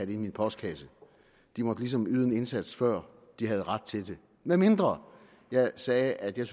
i min postkasse de måtte ligesom yde en indsats før de havde ret til det medmindre jeg sagde at jeg